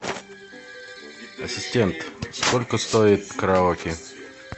ассистент сколько стоит караоке